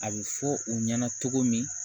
A bɛ fɔ u ɲɛna cogo min